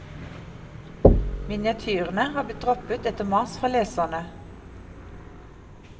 Miniatyrene har blitt droppet etter mas fra leserne.